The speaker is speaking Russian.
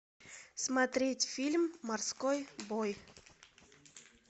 смотреть фильм морской бой